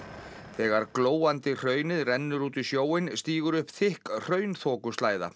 þegar glóandi hraunið rennur út í sjóinn stígur upp þykk